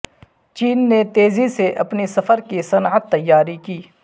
چین نے تیزی سے اپنی سفر کی صنعت تیار کی